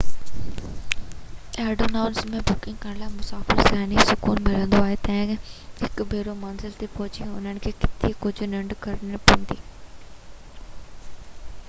advance ۾ booking ڪرڻ مسافر کي ذهني سڪون ملندو آهي ته هڪ ڀيرو منزل تي پهچي انهن کي ڪٿي ڪجهه ننڊ ڪرڻي پوندي